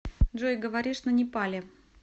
джой говоришь на непали